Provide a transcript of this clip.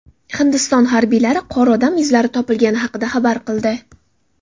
Hindiston harbiylari qor odam izlari topilgani haqida xabar qildi.